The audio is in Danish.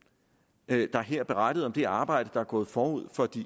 der blev her berettet om det arbejde der er gået forud for de